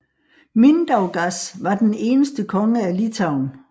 Mindaugas var den eneste konge af Litauen